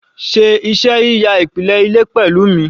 Ṣe iṣẹ́ yíya ìpìlẹ̀ ilé pẹ̀lú mi